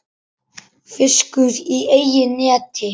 Fiskur í eigin neti.